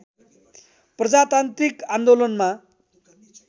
प्रजातान्त्रिक आन्दोलनमा